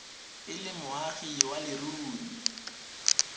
e le moagi wa leruri